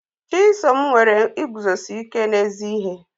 Chisom nwere iguzosi ike n'ezi ihe.